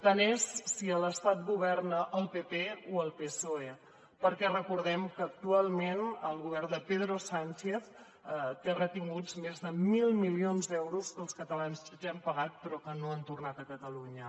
tant és si a l’estat governa el partit popular o el psoe perquè recordem que actualment el govern de pedro sánchez té retinguts més de mil milions d’euros que els catalans ja hem pagat però que no han tornat a catalunya